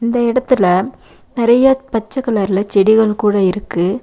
இந்த எடத்துல நெறைய பச்ச கலர்ல செடிகள் கூட இருக்கு.